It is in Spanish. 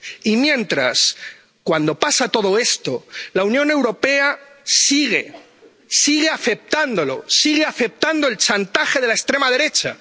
Y mientras, cuando pasa todo esto, la Unión Europea sigue aceptándolo, sigue aceptando el chantaje de la extrema derecha.